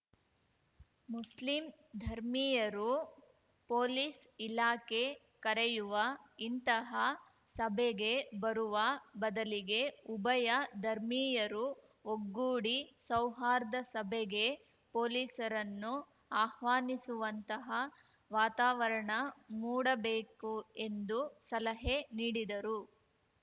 Muslim ಧರ್ಮೀಯರು police ಇಲಾಖೆ ಕರೆಯುವ ಇಂತಹ ಸಭೆಗೆ ಬರುವ ಬದಲಿಗೆ ಉಭಯ ಧರ್ಮೀಯರೂ ಒಗ್ಗೂಡಿ ಸೌಹಾರ್ದ ಸಭೆಗೆ ಪೊಲೀಸರನ್ನು ಆಹ್ವಾನಿಸುವಂತಹ ವಾತಾವರಣ ಮೂಡಬೇಕು ಎಂದು ಸಲಹೆ ನೀಡಿದರು